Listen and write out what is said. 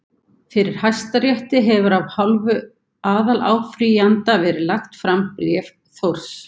Fyrir Hæstarétti hefur af hálfu aðaláfrýjanda verið lagt fram bréf Þórs